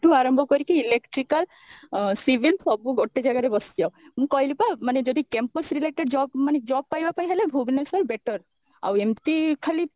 ଠୁ ଆରମ୍ଭ କରିକି electrical ଅ civil ସବୁ ଗୋଟେ ଜାଗାରେ ବସିଯାଅ ମୁଁ କହିଲି ପା ମାନେ ଯଦି campus related job ମାନେ job ପାଇଁ ହେଲେ ଭୁବନେଶ୍ବର better ଆଉ ଏମତି ଖାଲି